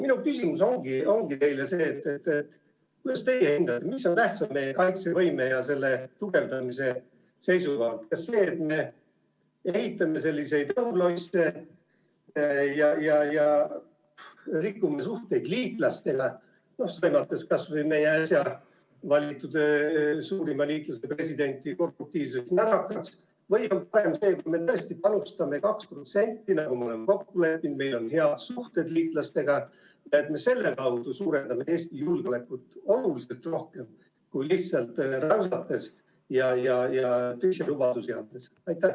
Minu küsimus teile ongi, et kuidas teie hindate, mis on tähtsam meie kaitsevõime ja selle tugevdamise seisukohalt, kas see, et me ehitame õhulosse ja rikume suhteid liitlastega, sõimates kas või meie suurima liitlase äsja valitud presidenti korruptiivseks närakaks, või on parem see, kui me tõesti panustame 2%, nii nagu me oleme kokku leppinud, meil on head suhted liitlastega ja me selle kaudu suurendame julgeolekut oluliselt rohkem, kui lihtsalt räusates ja tühje lubadusi andes?